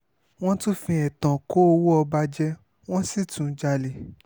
wọ́n tún fi ẹ̀tàn kó owó ọba jẹ wọ́n sì tún jalè